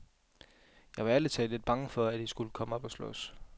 Jeg var ærlig talt lidt bange for, at de skulle komme op at slås.